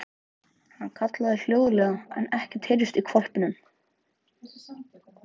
Hann kallaði hljóðlega en ekkert heyrðist í hvolpinum.